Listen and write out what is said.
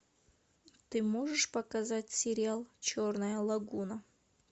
ты можешь показать сериал черная лагуна